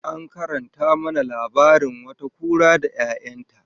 An karanta mana labarin wata kura da 'ya'yan ta